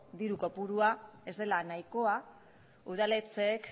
diru kopurua ez dela nahikoa udaletxeek